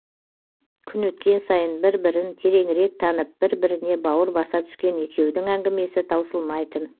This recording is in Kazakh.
күн өткен сайын бір бірін тереңірек танып бір біріне бауыр баса түскен екеудің әңгімесі таусылмайтын